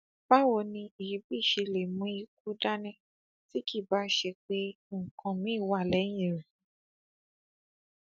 báwo ni èébì ṣe lè mú ikú dání tí kì í báá ṣe pé nǹkan míín wà lẹyìn ẹ